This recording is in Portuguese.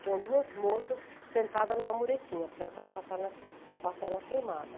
Tinham duas moças sentadas em uma muretinha, porque elas estavam com a perna com a perna queimada.